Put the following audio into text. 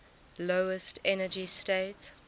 lowest energy state